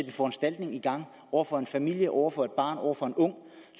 en foranstaltning i gang over for en familie over for et barn over for en ung